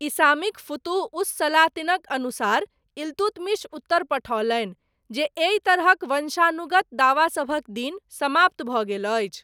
इसामीक फुतुह उस सलातिनक अनुसार, इल्तुतमिश उत्तर पठओलनि, जे एहि तरहक वंशानुगत दावासभक दिन, समाप्त भऽ गेल अछि।